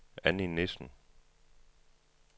Anni Nissen